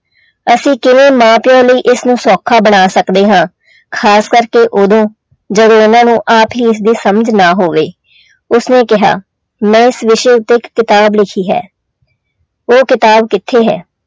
ਅਸੀਂ ਕਿਵੇਂ ਮਾਂ ਪਿਓ ਲਈ ਇਸਨੂੰ ਸੌਖਾ ਬਣਾ ਸਕਦੇ ਹਾਂ ਖ਼ਾਸ ਕਰਕੇ ਉਦੋਂ ਜਦੋਂ ਉਹਨਾਂ ਨੂੰ ਆਪ ਹੀ ਇਸਦੀ ਸਮਝ ਨਾ ਹੋਵੇ ਉਸਨੇ ਕਿਹਾ ਮੈਂ ਇਸ ਵਿਸ਼ੇ ਉੱਤੇ ਇੱਕ ਕਿਤਾਬ ਲਿਖੀ ਹੈ ਉਹ ਕਿਤਾਬ ਕਿੱਥੇ ਹੈ?